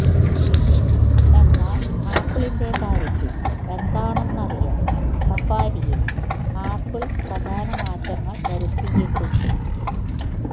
എന്നാൽ ആപ്പിളിന്റെ കാര്യത്തിൽ എന്താണെന്നറിയാൻ സഫാരിയിൽ ആപ്പിൾ പ്രധാന മാറ്റങ്ങൾ വരുത്തിയിട്ടുണ്ട്